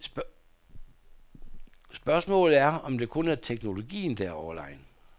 Spørgsmålet er, om det kun er teknologien, der er overlegen.